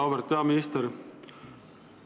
Auväärt peaminister!